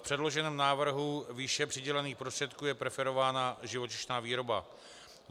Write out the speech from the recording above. V předloženém návrhu výše přidělených prostředků je preferována živočišná výroba.